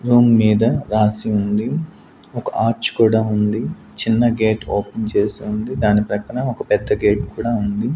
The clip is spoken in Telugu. రూమ్ మీద రాసి ఉంది ఒక ఆచ్ కూడా ఉంది చిన్న గేట్ ఓపెన్ చేసి ఉంది దాని ప్రక్కన ఒక పెద్ద గేట్ కూడా ఉంది.